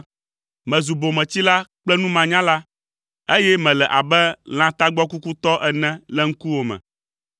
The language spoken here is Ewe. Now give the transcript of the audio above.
mezu bometsila kple numanyala, eye mele abe lã tagbɔkukutɔ ene le ŋkuwò me.